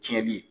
Tiɲɛni ye